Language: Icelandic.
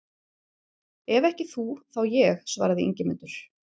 Ef ekki þú, þá ég, svaraði Ingimundur.